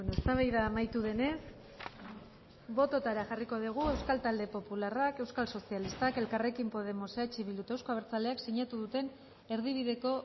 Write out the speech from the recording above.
eztabaida amaitu denez bototara jarriko degu euskal talde popularrak euskal sozialistak elkarrekin podemos eh bildu eta euzko abertzaleak sinatu duten erdibideko